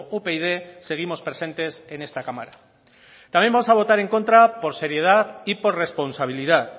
upyd seguimos presentes en esta cámara también vamos a votar en contra por seriedad y por responsabilidad